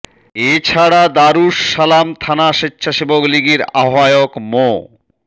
এ ছাড়া দারুস সালাম থানা স্বেচ্ছাসেবক লীগের আহ্বায়ক মো